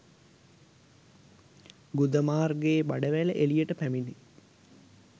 ගුද මාර්ගයේ බඩවැල එළියට පැමිණේ.